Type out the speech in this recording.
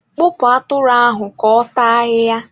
kpụpụ atụrụ ahụ ka ọ taa ahịhịa!